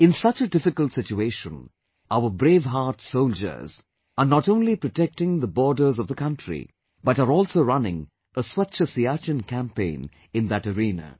In such a difficult situation, our brave heart soldiers are not only protecting the borders of the country, but are also running a 'Swacch Siachen' campaign in that arena